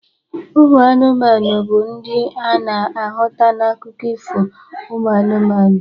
Ụmụ anụmanụ bụ ndị ana ahụta na akụkọ Ifo uMụ anụmanụ.